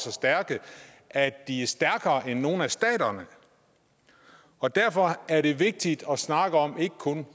og stærke at de er stærkere end nogen af staterne og derfor er det vigtigt ikke kun at snakke om